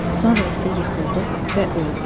Sonra isə yıxıldı və öldü.